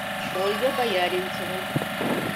ольга бояринцева